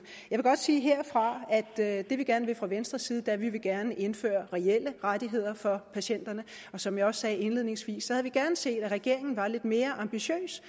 vil godt sige herfra at det vi gerne vil fra venstres side er at vi gerne vil indføre reelle rettigheder for patienterne og som jeg også sagde indledningsvis havde vi gerne set at regeringen var lidt mere ambitiøs